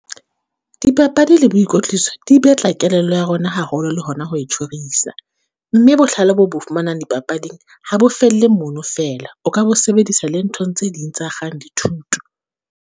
Dipapadi le boikotliso di batla kelello ya rona haholo le hona ho e tjhorisa. Mme bohlale boo bo fumanang dipapading ha bo felle mono fela, o ka bo sebedisa le nthong tse ding tse akgang dithuto.